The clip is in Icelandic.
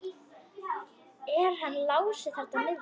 Er hann Lási þarna niðri?